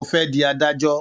Ó fẹ́ di adájọ́.